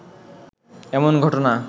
এমন ঘটনা